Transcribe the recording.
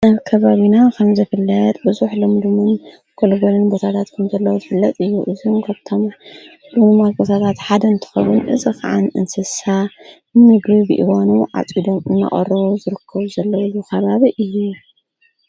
ኣብ ከባቢና ኸም ዘፍልጥ ብዙሕ ልምድምን ጐልበልን በታዳት ከምተለዉ ዝፍለጥ እዩ እዝምጐብቶም ሉሙማ ኣርጐሳታት ሓደ ንትኸቡን እዝ ኸዓን እንስሳ ሚግሪ ብኢወኑ ዓጺ ዶም እናቐሮ ዝርክዉ ዘለሉ ኸባብ እዩ።